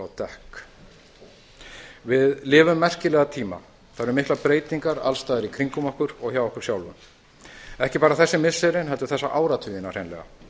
dekk við lifum merkilega tíma það eru miklar breytingar alls staðar í kringum okkur og hjá okkur sjálfum ekki bara þessi missirin heldur þessa áratugina hreinlega